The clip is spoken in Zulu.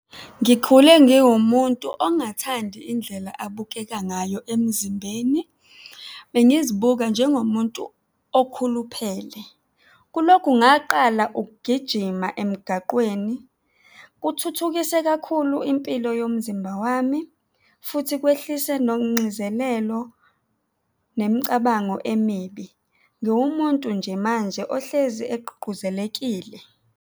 Ngikhule ngiwumuntu ongathandi indlela abukeka ngayo emzimbeni, bengizibuka njengomuntu okhuluphele. Kulokhu ngaqala ukugijima emgaqweni, kuthuthukise kakhulu impilo yomzimba wami futhi kwehlise nongxizelelo nemicabango emibi. Ngiwumuntu nje manje ohlezi egqugquzelekile.